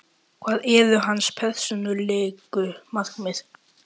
Hver eru hans persónulegu markmið?